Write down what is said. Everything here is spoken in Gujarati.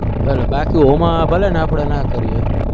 ભલે બાકી એમાં ભલેને આપણે ના કર્યું હોય